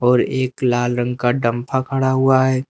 और एक लाल रंग का डम्फा खड़ा हुआ है।